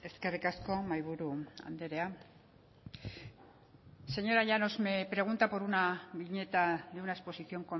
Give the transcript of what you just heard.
eskerrik asko mahaiburu andrea señora llanos me pregunta por una viñeta de una exposición